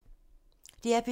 DR P2